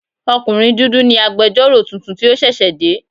Ọkùnrin dúdú ni agbẹjọ́rò tuntun tí ó ṣẹ̀ṣẹ̀ dé.